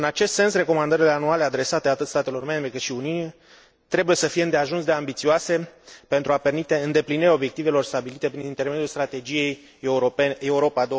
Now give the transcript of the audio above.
În acest sens, recomandările anuale adresate atât statelor membre, cât și Uniunii, trebuie să fie îndeajuns de ambițioase pentru a permite îndeplinirea obiectivelor stabilite prin intermediul Strategiei Europa